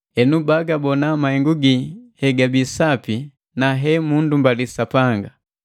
enu bagubona mahengu gi hegabi sapi na hemundumbali Sapanga.